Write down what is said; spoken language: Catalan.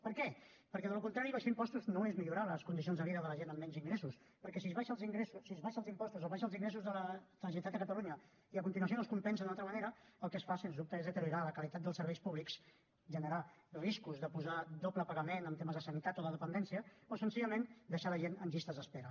per què perquè del contrari abaixar impostos no és millorar les condicions de vida de la gent amb menys ingressos perquè si s’abaixen els impostos s’abaixen els ingressos de la generalitat de catalunya i a continuació no es compensa d’una altra manera el que es fa sens dubte és deteriorar la qualitat dels serveis públics generar riscos de posar doble pagament en temes de sanitat o de dependència o senzillament deixar la gent en llistes d’espera